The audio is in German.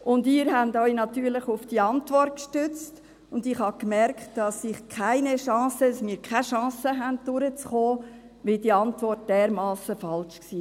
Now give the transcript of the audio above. Und Sie stützten sich natürlich auf diese Antwort, und ich bemerkte, dass wir keine Chance haben, durchzukommen, weil diese Antwort dermassen falsch war.